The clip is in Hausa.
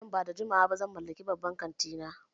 Nan ba da jimawa ba zan mallaki babban kanti na